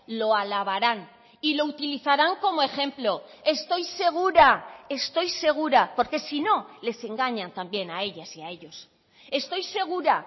lo alabarán y lo utilizarán como ejemplo estoy segura estoy segura porque si no les engañan también a ellas y a ellos estoy segura